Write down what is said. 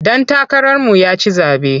Ɗan takararmu ya ci zaɓe.